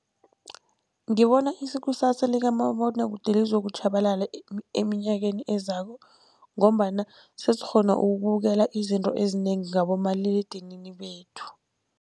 Ngibona ikusasa likamabonwakude lizokutjhabalala eminyakeni ezako, ngombana sesikghona ukubukela izinto ezinengi ngabomaliledinini bethu.